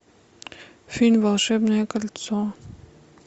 фильм волшебное кольцо